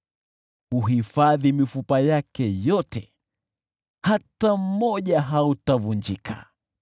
huhifadhi mifupa yake yote, hata mmoja hautavunjika.